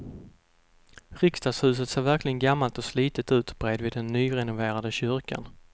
Riksdagshuset ser verkligen gammalt och slitet ut bredvid den nyrenoverade kyrkan.